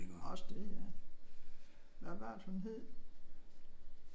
Også det ja. Hvad var det hun hed?